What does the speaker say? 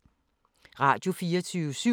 Radio24syv